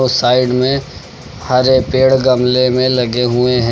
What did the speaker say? Side में हरे पेड़ गमले में लगे हुए हैं।